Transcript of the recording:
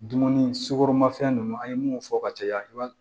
Dumuni sugoromafɛn ninnu an ye mun fɔ ka caya